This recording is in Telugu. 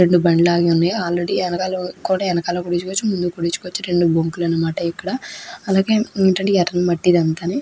రెండు బండ్లు ఆగివున్నాయి ఆల్ రెడీ ఎనకాల కూడా ఎనకాల కొట్టించుకోవచ్చు ముందు కొట్టించుకోవచ్చు రెండు బొంకులు అనమాట ఇక్కడ అలాగే ఉమ్ ఏంటంటే ఎర్రని మట్టి ఇదంతాని.